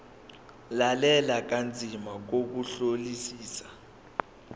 lalela kanzima ngokuhlolisisa